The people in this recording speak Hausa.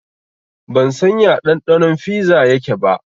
Ban san ya ɗanɗanon fiza yake ba